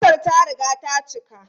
Motar ta riga ta cika.